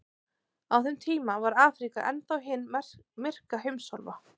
Á þeim tíma var Afríka enn þá hin myrka heimsálfa.